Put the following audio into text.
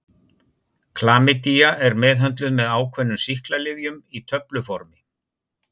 Klamydía er meðhöndluð með ákveðnum sýklalyfjum í töfluformi.